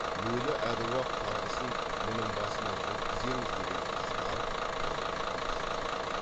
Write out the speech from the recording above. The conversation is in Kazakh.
өлі аруақ қарғысын мұның басына жеткіземіз деген ызғар қайрат та күшті